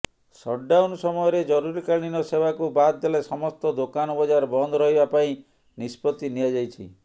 shutdown ସମୟରେ ଜରୁରୀକାଳୀନ ସେବାକୁ ବାଦ୍ ଦେଲେ ସମସ୍ତ ଦୋକାନ ବଜାର ବନ୍ଦ ରହିବା ପାଇଁ ନିଷ୍ପତ୍ତି ନିଆଯାଇଛି